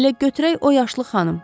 Elə götürək o yaşlı xanım.